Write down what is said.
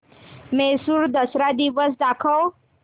म्हैसूर दसरा दिन दाखव